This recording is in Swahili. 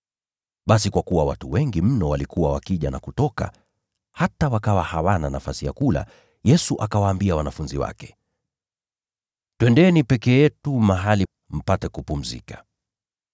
Basi kwa kuwa watu wengi mno walikuwa wakija na kutoka, hata wakawa hawana nafasi ya kula, Yesu akawaambia wanafunzi wake, “Twendeni peke yetu mahali pa faragha, mpate kupumzika.”